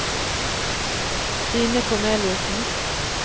Stine Korneliussen